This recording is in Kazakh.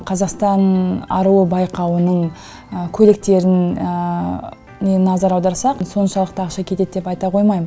қазақстан аруы байқауының көйлектерін не назар аударсақ соншалықты ақша кетеді деп айта қоймайм